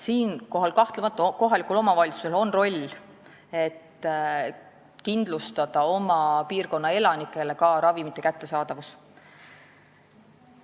Siinkohal ütlen, et kahtlemata on kohaliku omavalitsuse roll kindlustada oma piirkonna elanikele ravimite kättesaadavus.